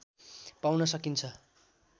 पाउन सकिन्छ